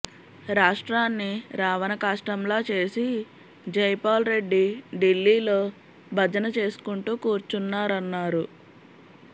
రాష్ట్రాన్ని రావణకాష్టంలా చేసి జైపాల్ రెడ్డి ఢిల్లీలో భజన చేసుకుంటూ కూర్చున్నారన్నారు